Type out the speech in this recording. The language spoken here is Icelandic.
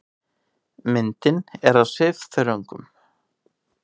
Myndin er af svifþörungum.